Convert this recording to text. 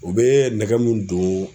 U bɛ nɛgɛ mun don